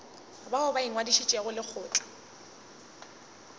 bao ba ingwadišitšego le lekgotla